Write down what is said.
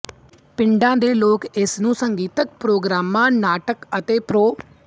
ਪਿੰਡਾਂ ਦੇ ਲੋਕ ਇਸਨੂੰ ਸੰਗੀਤਕ ਪ੍ਰੋਗਰਾਮਾਂ ਨਾਟਕਾਂ ਅਤੇ ਪ੍ਰੋ